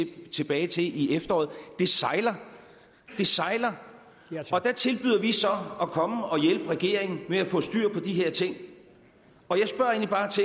tilbage til i efteråret det sejler det sejler og der tilbyder vi så at komme og hjælpe regeringen med at få styr på de her ting